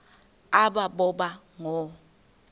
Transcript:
aba boba ngoo